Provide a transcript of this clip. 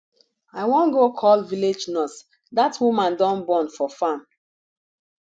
i wan go call village nurse dat woman don born for farm